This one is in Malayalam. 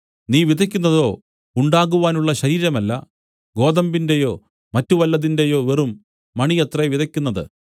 നീ വിതയ്ക്കുന്നതോ ഉണ്ടാകുവാനുള്ള ശരീരമല്ല ഗോതമ്പിന്റെയോ മറ്റു വല്ലതിന്റെയോ വെറും മണിയത്രേ വിതയ്ക്കുന്നത്